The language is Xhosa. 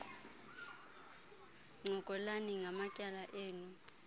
ncokolani ngamatyala enu